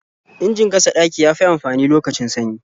Injin gasa ɗaki ya fi amfani lokacin sanyi.